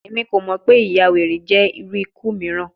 Emi ko mọ pe iyawere jẹ iru iku miiran